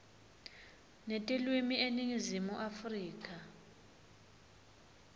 netilwimi eningizimu afrika